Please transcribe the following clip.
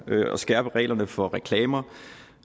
at skærpe reglerne for reklamer